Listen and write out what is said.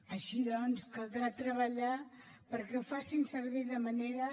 així doncs caldrà treballar perquè ho facin servir de la manera